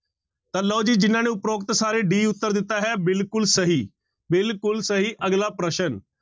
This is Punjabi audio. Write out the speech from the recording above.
ਤਾਂ ਲਓ ਜੀ ਜਿਹਨਾਂ ਨੇ ਉਪਰੋਕਤ ਸਾਰੇ d ਉੱਤਰ ਦਿੱਤਾ ਹੈ ਬਿਲਕੁਲ ਸਹੀ ਬਿਲਕੁਲ ਸਹੀ, ਅਗਲਾ ਪ੍ਰਸ਼ਨ।